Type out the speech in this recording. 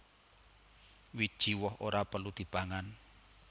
Wiji woh ora perlu dipangan